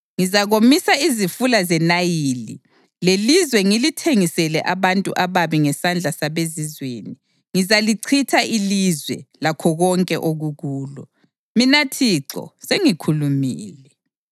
Ngizakomisa izifula zeNayili lelizwe ngilithengisele abantu ababi; ngesandla sabezizweni, ngizalichitha ilizwe, lakho konke okukulo. Mina Thixo sengikhulumile.